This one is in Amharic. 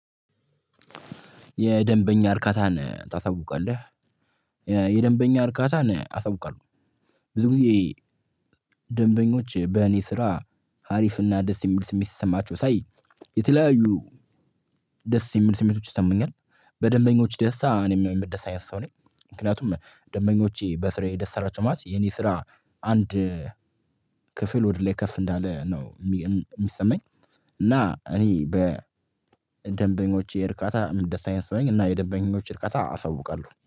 "የደንበኛ እርካታን ታሳውቃለህ?" የደንበኛ እርካታን አሳውቃለሁ። ብዙ ጊዜ ደንበኞች በእኔ ስራ ሀሪፍና ደስ የሚል ስሜት ሲሰማቸው ሳይ የተለያዩ ደስ የሚል ስሜቶች ይሰሙኛል። በደንበኞች ደስታ እኔም የምደሰተ አይነት ሰው ነኝ። ምክንያቱም ደምበኞቼ በስራዬ ደስ አላቸው ማለት የኔ ስራ አንድ ክፍል ወደ ላይ ከፍ እንዳለ ነው የሚሰማኝ፤ እና እኔ በደንበኞቼ እርካታ ምደሰት አይነት ሰው ነኝ እና የደንበኞች እርካታ አሳውቃለሁ።